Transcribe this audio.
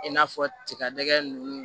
I n'a fɔ tiga nɛgɛ nunnu